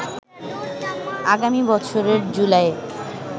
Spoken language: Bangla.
আগামী বছরের জুলাইয়ে